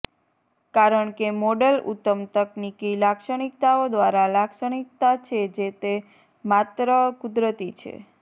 કારણ કે મોડલ ઉત્તમ તકનિકી લાક્ષણિકતાઓ દ્વારા લાક્ષણિકતા છે તે માત્ર કુદરતી છે